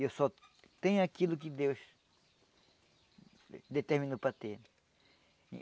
E eu só tenho aquilo que Deus determinou para ter.